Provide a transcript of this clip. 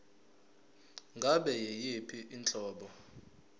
ngabe yiyiphi inhlobo